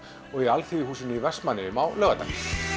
og Alþýðuhúsinu í Vestmannaeyjum á laugardag